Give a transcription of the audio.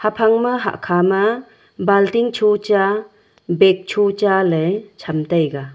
phang ma hahkha ma balting chu cha bag chu cha ley cham taiga.